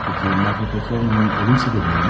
Bəs Marfa Petrovnanın ölüm səbəbi nə imiş?